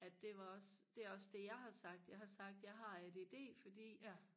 at det var også det er også det jeg har sagt jeg har sagt at jeg har ADD fordi